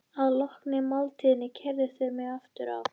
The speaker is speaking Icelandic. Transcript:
Þetta er braut sem dráttarvélar hafa troðið.